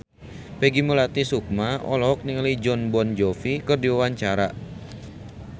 Peggy Melati Sukma olohok ningali Jon Bon Jovi keur diwawancara